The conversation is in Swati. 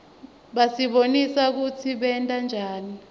basibonisa kutsi bayentanjani